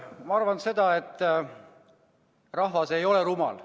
Ma arvan, et rahvas ei ole rumal.